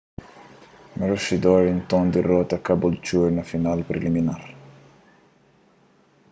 maroochydore nton dirota caboolture na final preliminar